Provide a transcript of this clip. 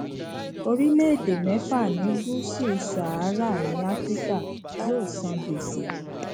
orílẹèdè mẹfà ní gúúsù sahara ní áfíríkà yóò san gbèsè